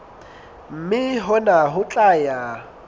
mme hona ho tla ya